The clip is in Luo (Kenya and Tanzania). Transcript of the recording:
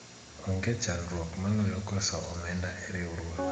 onge chandruok maloyo koso omenda e riwruok